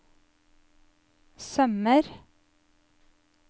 sømmer